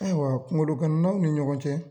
Ayiwa kungolo gananaw ni ɲɔgɔn cɛ